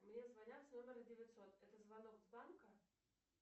мне звонят с номера девятьсот это звонок с банка